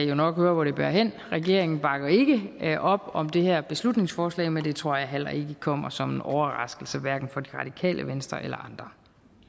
jo nok høre hvor det bærer hen regeringen bakker ikke op om det her beslutningsforslag men det tror jeg heller ikke kommer som en overraskelse hverken for det radikale venstre eller